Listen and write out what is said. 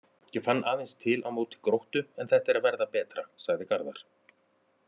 Ég fann aðeins til á móti Gróttu en þetta er að verða betra, sagði Garðar.